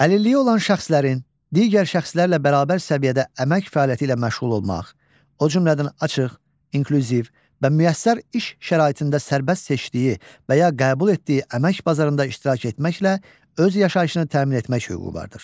Əlilliyi olan şəxslərin digər şəxslərlə bərabər səviyyədə əmək fəaliyyəti ilə məşğul olmaq, o cümlədən açıq, inklüziv və müəssər iş şəraitində sərbəst seçdiyi və ya qəbul etdiyi əmək bazarında iştirak etməklə öz yaşayışını təmin etmək hüququ vardır.